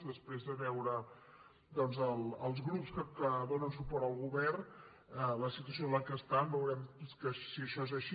després de veure els grups que donen suport al govern la situació en què estan veurem si això és així